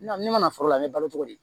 Ne mana foro la n bɛ balo cogo di